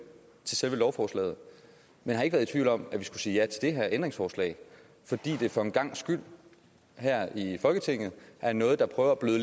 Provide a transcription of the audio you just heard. til selve lovforslaget men har ikke været tvivl om at vi skulle sige ja til det her ændringsforslag fordi der for en gangs skyld her i folketinget er noget der prøver at bløde